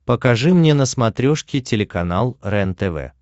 покажи мне на смотрешке телеканал рентв